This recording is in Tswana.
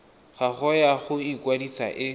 gago ya go ikwadisa e